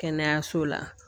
Kɛnɛyaso la